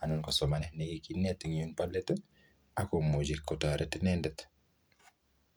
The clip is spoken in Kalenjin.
anan ko somanet ne kikinet eng yu bo let, akomuchi kotoret inendet.